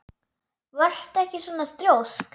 Vertu ekki svona þrjósk!